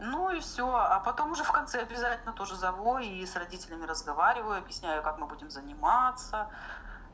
ну и всё а потом уже в конце обязательно тоже завой и с родителями разговариваю объясняю как мы будем заниматься